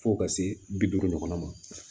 Fo ka se bi duuru ɲɔgɔn ma